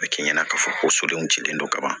A bɛ kɛ ɲɛna k'a fɔ ko sodenw cilen don ka ban